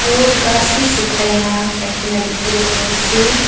aru khas bi sukaina rakikina tekibole pari ase.